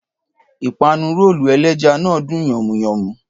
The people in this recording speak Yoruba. Ìpànù-ròòlù èlẹ̀já ná dùn yànmu-yànmu